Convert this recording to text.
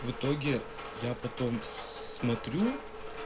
в итоге я потом смотрю